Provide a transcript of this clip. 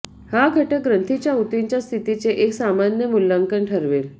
हा घटक ग्रंथीच्या ऊतींच्या स्थितीचे एक सामान्य मूल्यांकन ठरवेल